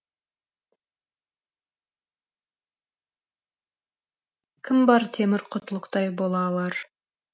кім бар темір құтлықтай бола алар